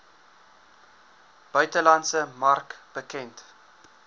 buitelandse mark bekend